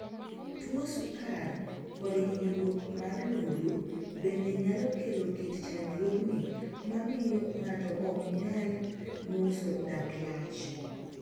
Tuo sukar kod hinyruok mar lumbru bende nyalo kelo kit chandruogni ma miyo ng'ato ok nyal ng'uso dak lach